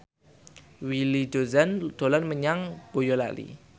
Willy Dozan dolan menyang Boyolali